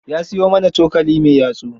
Ya siyo mana cokali mai yatsu.